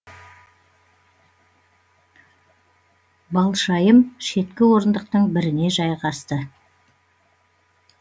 балшайым шеткі орындықтың біріне жайғасты